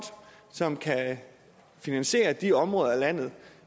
som kan finansiere de områder af landet